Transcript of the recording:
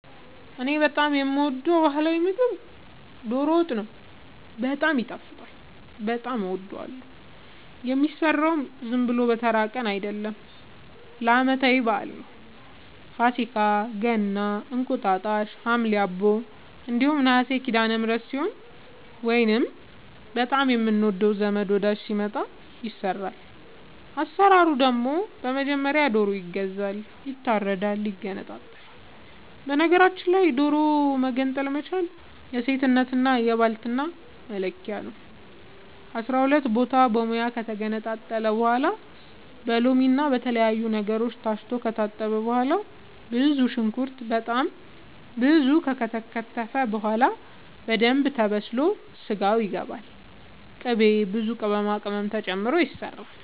እኔ በጣም የምወደው በህላዊ ምግብ ዶሮ ወጥ ነው። በጣም ይጣፍጣል በጣም አወዳለሁ። የሚሰራውም ዝም ብሎ በተራ ቀን አይደለም ለአመታዊ በአል ነው። ፋሲካ ገና እንቁጣጣሽ ሀምሌ አቦ እንዲሁም ነሀሴ ሲዳለምህረት ሲሆን ወይንም በጣም የምንወደው ዘመድ ወዳጅ ሲመጣ። አሰራሩ ደግሞ በመጀመሪያ ዶሮ ይገዛል ይታረዳል ይገነጣጠላል በነገራችል ላይ ዶሮ መገንጠል መቻል የሴትነት የባልትና መለኪያ ነው። አስራሁለት ቦታ በሙያ ከተገነጣጠለ በኋላ በሎምና በተለያዩ ነገሮች ታስቶ ከታጠበ በኋላ ብዙ ሽንኩርት በጣም ብዙ ከተከተፈ በኋላ በደንብ ተበስሎ ስጋው ይገባል ቅቤ ብዙ ቅመማ ቅመም ተጨምሮ ይሰራል